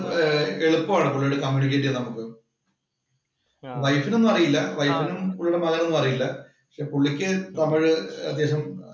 എളുപ്പമാണ് പുള്ളിയോട് കമ്യൂണിക്കേറ്റ് ചെയ്യാന്‍ നമുക്ക്. വൈഫിനു ഒന്നും അറിയില്ല. വൈഫിനും, പുള്ളിയുടെ മകനും ഒന്നുമറിയില്ല. പുള്ളിക്ക് തമിഴ് അദ്ദേഹം എളുപ്പമാണ്. പുള്ളിയോട് കമ്യൂണിക്കേറ്റ് ചെയ്യാന്‍ നമുക്ക്.